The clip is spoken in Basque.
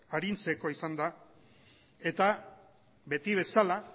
arintzeko izan da eta beti bezala